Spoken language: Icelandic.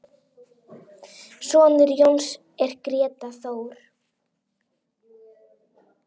Sonur Jóns er Grétar Þór.